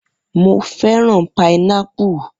Mo fẹ́ràn pinápù.